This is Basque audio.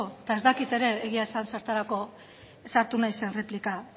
eta ez dakit ere egia esan zertarako sartu naizen erreplika